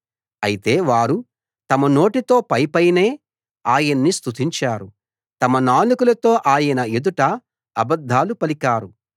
అయితే వారు తమ నోటితో పైపైనే ఆయన్ని స్తుతించారు తమ నాలుకలతో ఆయన ఎదుట అబద్ధాలు పలికారు